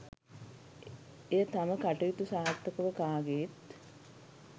එය තම කටයුතු සාර්ථකව කාගේත්